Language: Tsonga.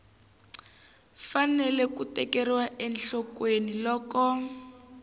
fanele ku tekeriwa enhlokweni loko